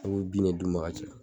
i be bin ne d'u ma ka caya